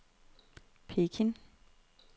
Peking